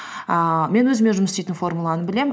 ііі мен өзіме жұмыс істейтін формуланы білемін